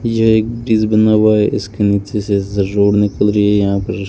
ये एक ब्रिज बना हुआ हैं इसके नीचे से रोड निकल रही है यहां पर।